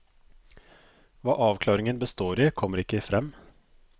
Hva avklaringen består i, kommer ikke frem.